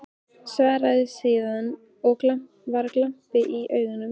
Svaraði síðan, og var glampi í augunum